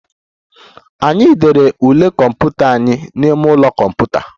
Anyị dere ule kọmputa anyị n'ime ụlọ kọmputa